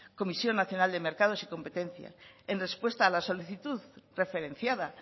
comisión nacional de mercados y competencia en respuesta a la solicitud referenciada